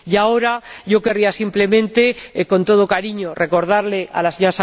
Y ahora querría simplemente, con todo cariño, recordarle a la Sra.